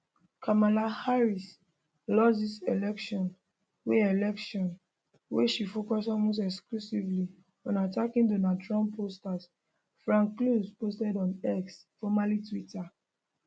kamala harris lost dis election wen election wen she focus almost exclusively on attacking donald trump pollster frank luntz posted on x formerly twitter